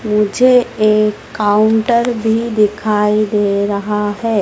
मुझे एक काउंटर भी दिखाई दे रहा है।